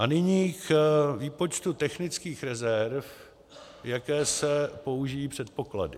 A nyní k výpočtu technických rezerv, jaké se použijí předpoklady.